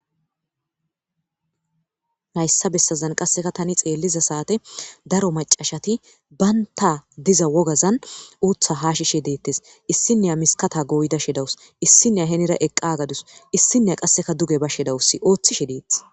Hayssa bessazan qasseka tani xeelliza saate daro macashati baynta diza wogazan uutha haashishe deettes issinne amiskata goyda shedawus issinne henira eqqa gadus issinne qasseka duge bashe dawussi ooththishe deeth.